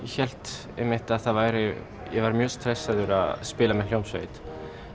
hélt einmitt að það væri ég var mjög stressaður að spila með hljómsveit